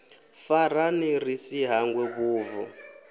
farane ri si hangwe vhubvo